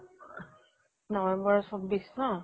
november ৰ চৌব্বিছ ন?